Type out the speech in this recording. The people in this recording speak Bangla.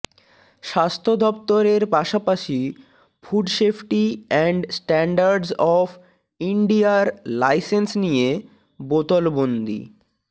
স্বাস্থ্য দফতরের পাশাপাশি food safety and standards of ইন্ডিয়ার লাইসেন্স নিয়ে বোতলবন্দি